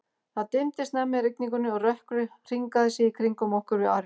Það dimmdi snemma í rigningunni, og rökkrið hringaði sig í kringum okkur við arininn.